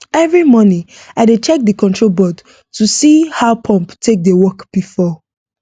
every morning i dey check the control board to see how pump take dey work before